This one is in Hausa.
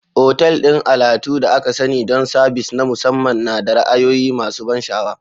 Otal ɗin alatu da aka sani don sabis na musamman da ra'ayoyi masu ban sha'awa.